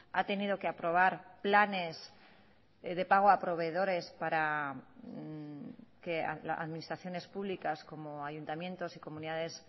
ha tenido que aprobar planes de pago a proveedores para que administraciones públicas como ayuntamientos y comunidades